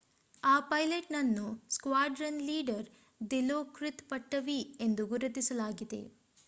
ಆ ಪೈಲಟ್‌ನನ್ನು squadron leader Dilokrit Pattavee ಎಂದು ಗುರುತಿಸಲಾಗಿದೆ